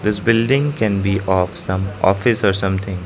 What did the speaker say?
this building can be of some office or something.